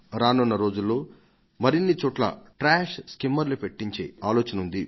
రానున్న రోజులలో మరిన్నిచోట్ల ట్రాష్ స్కిమ్మర్లు పెట్టించే ఆలోచన ఉంది